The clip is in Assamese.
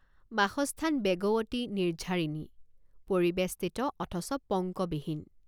বাসস্থান বেগৱতী নিৰ্ঝৰিণী পৰিবেষ্টিত অথচ পঙ্কবিহীন।